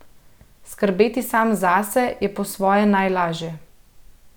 Skrbeti sam zase je po svoje najlažje.